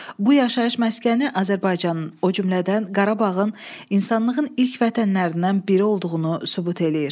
Bu yaşayış məskəni Azərbaycanın, o cümlədən Qarabağın insanlığın ilk vətənlərindən biri olduğunu sübut eləyir.